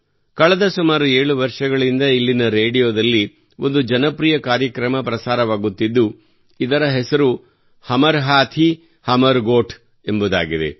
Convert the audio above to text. ಕಳೆದ ಸುಮಾರು 7 ವರ್ಷಗಳಿಂದ ಇಲ್ಲಿನ ರೇಡಿಯೋದಲ್ಲಿ ಒಂದು ಜನಪ್ರಿಯ ಕಾರ್ಯಕ್ರಮ ಪ್ರಸಾರವಾಗುತ್ತಿದ್ದು ಇದರ ಹೆಸರು ಹಮರ್ ಹಾಥೀ ಹಮರ್ ಗೋಠ್ ಎಂಬುದಾಗಿದೆ